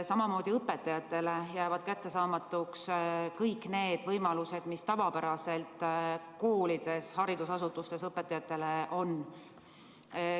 Samamoodi jäävad õpetajatele kättesaamatuks kõik need võimalused, mis tavapäraselt koolides-haridusasutustes õpetajatel on.